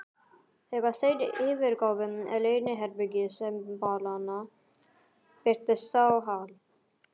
Þegar þeir yfirgáfu leyniherbergi sembalanna, birtist sá Hal